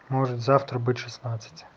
может завтра быть шестнадцать